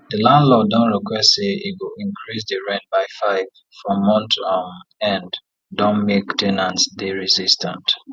the landlord don request say e go increase the the rent by 5 for month um end don make ten ants dey resistant